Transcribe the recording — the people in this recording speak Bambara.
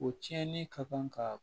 O tiɲɛni ka kan ka